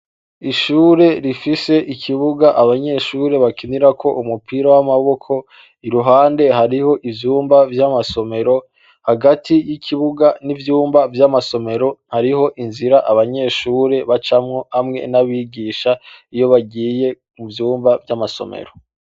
Ishure rifise ikibuga abanyeshure bakinirako umupira w' amaboko, iruhande hariho ivyumba vy' amasomero, hagati y' ikibuga n' ivyumba vy'amasomero, hariho inzira abanyeshure bacamwo hamwe n' abigisha, iyo bagiye mu vyumba vy' amasomero .